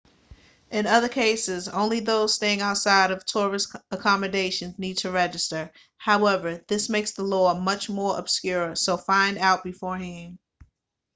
in other cases only those staying outside of tourist accommodations need to register however this makes the law much more obscure so find out beforehand